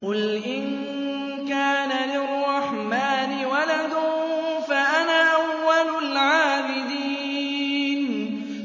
قُلْ إِن كَانَ لِلرَّحْمَٰنِ وَلَدٌ فَأَنَا أَوَّلُ الْعَابِدِينَ